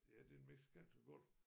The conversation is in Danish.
Ja den Mexikanske Golf